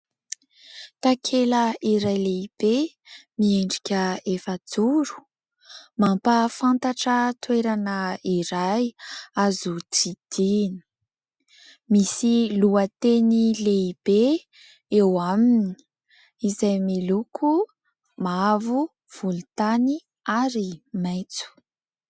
Takela iray lehibe miendrika efa-joro, mampahafantatra toerana iray azo tsidihina. Misy lohateny lehibe eo aminy, izay miloko mavo, volontany ary maitso.